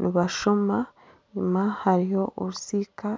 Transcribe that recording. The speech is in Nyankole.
nibashoma enyuma hariyo orusiika